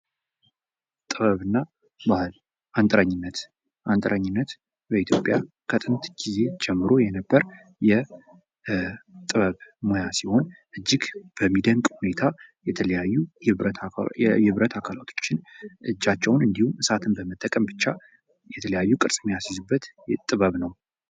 ጥበብና ባህል አንጥረኝነት በኢትዮጵያ ከጥንት ጊዜ ጀምሮ የነበረ የጥበብ ሙያ ሲሆን እጅግ በሚደንቅ ሁኔታ የተለያዩ የብረታ ብረት አካሎችን እንዲሁም እጃቸውን እሳትን በመጠቀም ብቻ የተለያዩ ቅርስ የሚያሲዙበት ጥበብ ነው።